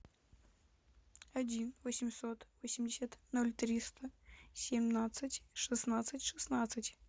один восемьсот восемьдесят ноль триста семнадцать шестнадцать шестнадцать